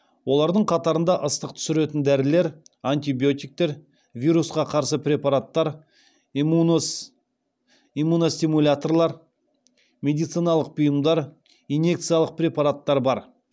олардың қатарында ыстық түсіретін дәрілер антибиотиктер вирусқа қарсы препараттар иммуностимуляторлар медициналық бұйымдар инъекциялық препараттар бар